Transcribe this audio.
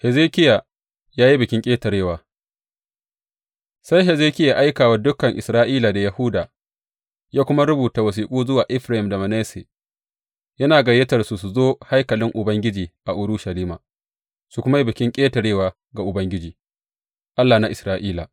Hezekiya ya yi Bikin Ƙetarewa Sai Hezekiya ya aika wa dukan Isra’ila da Yahuda, ya kuma rubuta wasiƙu zuwa Efraim da Manasse, yana gayyatarsu su zo haikalin Ubangiji a Urushalima, su kuma yi Bikin Ƙetarewa ga Ubangiji, Allah na Isra’ila.